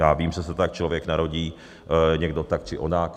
Já vím, že se tak člověk narodí, někdo tak či onak.